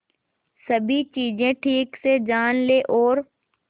सभी चीजें ठीक से जान ले और